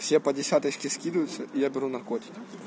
все по десяточке скидываются я беру наркотики